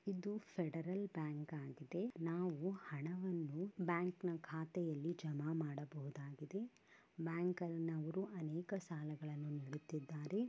ಇದು Federal Bank ಆಗಿದೆ ನಾವು ಹಣವನ್ನು ಬ್ಯಾಂಕ್ ನ ಖಾತೆಯಲ್ಲಿ ಜಮಾ ಮಾಡಬಹುದಾಗಿದೆ ಬ್ಯಾಂಕ್ ನವರು ಅನೇಕ ಸಾಲಗಳನ್ನು ನೀಡುತ್ತಿದ್ದಾರೆ.